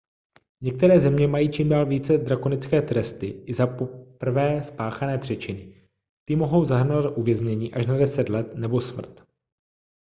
některé země mají čím dál více drakonické tresty i za poprvé spáchané přečiny ty mohou zahrnovat uvěznění až na 10 let nebo smrt